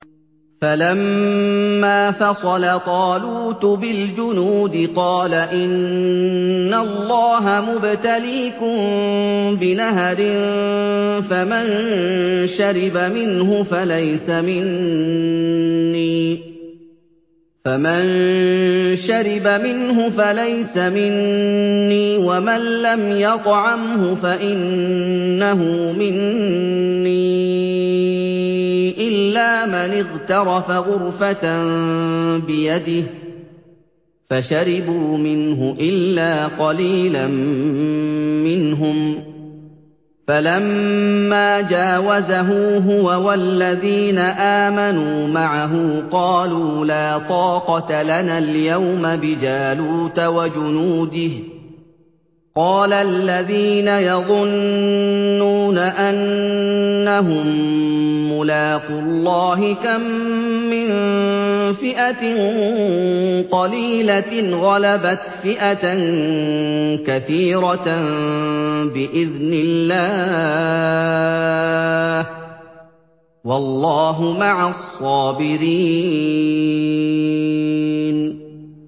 فَلَمَّا فَصَلَ طَالُوتُ بِالْجُنُودِ قَالَ إِنَّ اللَّهَ مُبْتَلِيكُم بِنَهَرٍ فَمَن شَرِبَ مِنْهُ فَلَيْسَ مِنِّي وَمَن لَّمْ يَطْعَمْهُ فَإِنَّهُ مِنِّي إِلَّا مَنِ اغْتَرَفَ غُرْفَةً بِيَدِهِ ۚ فَشَرِبُوا مِنْهُ إِلَّا قَلِيلًا مِّنْهُمْ ۚ فَلَمَّا جَاوَزَهُ هُوَ وَالَّذِينَ آمَنُوا مَعَهُ قَالُوا لَا طَاقَةَ لَنَا الْيَوْمَ بِجَالُوتَ وَجُنُودِهِ ۚ قَالَ الَّذِينَ يَظُنُّونَ أَنَّهُم مُّلَاقُو اللَّهِ كَم مِّن فِئَةٍ قَلِيلَةٍ غَلَبَتْ فِئَةً كَثِيرَةً بِإِذْنِ اللَّهِ ۗ وَاللَّهُ مَعَ الصَّابِرِينَ